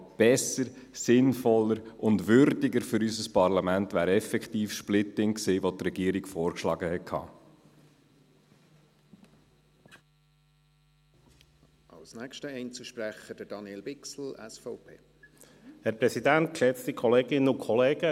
Aber besser, sinnvoller und würdiger für unser Parlament wäre effektiv das Splitting gewesen, das die Regierung vorgeschlagen hatte.